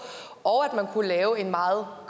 og at man kunne lave en meget